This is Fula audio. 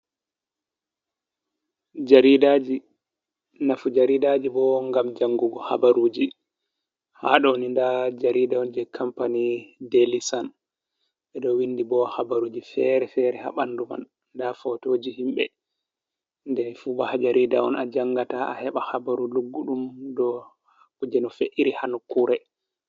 Nafu jaridaaji bo ngam janngugo habaruuji. Haa ɗoni ndaa jarida on, jey kampani deeli son, ɓe ɗo winndi bo habaruuji fere fere haa ɓanndu man, ndaa fotooji himɓe. Ɗo fu bo haa jarida on,a janngata a heɓa habaru lugguɗum dow kuje no fe’iri haa nokkuure.